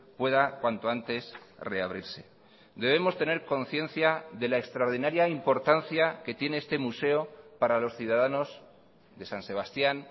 pueda cuanto antes reabrirse debemos tener conciencia de la extraordinaria importancia que tiene este museo para los ciudadanos de san sebastián